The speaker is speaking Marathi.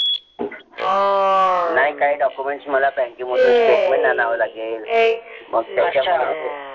नाही काही document मला bank के मधून statement आणाव लागेल.